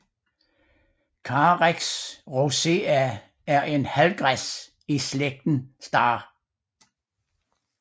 Carex rosea er en halvgræs i slægten star